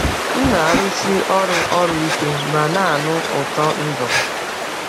M na-arụsi ọrụ ọrụ ike ma na-anụ ụtọ ndụ.